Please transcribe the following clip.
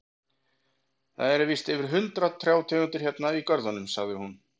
Það eru víst yfir hundrað trjátegundir hérna í görðunum, sagði hún.